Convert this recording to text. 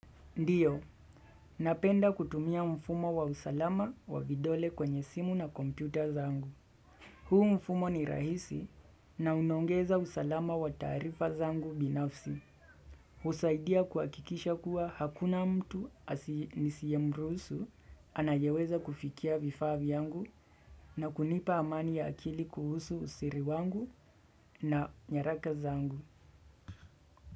Ndiyo, napenda kutumia mfumo wa usalama wa vidole kwenye simu na kompyuta zangu. Huu mfumo ni rahisi na unaongeza usalama wa taarifa zangu binafsi. Usaidia kuwakikisha kuwa hakuna mtu nisiye mruhusu anayeweza kufikia vifaa vyangu na kunipa amani ya akili kuhusu usiri wangu na nyaraka zangu.